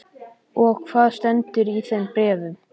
Og hvað stendur í þeim bréfum?